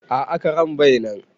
A'a karen bai nan